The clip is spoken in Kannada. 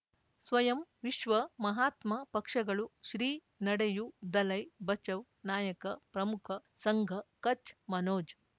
ಸ್ವಯಂ ವಿಶ್ವ ಮಹಾತ್ಮ ಪಕ್ಷಗಳು ಶ್ರೀ ನಡೆಯೂ ದಲೈ ಬಚೌ ನಾಯಕ ಪ್ರಮುಖ ಸಂಘ ಕಚ್ ಮನೋಜ್